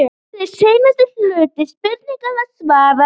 Hér er seinni hluta spurningarinnar svarað.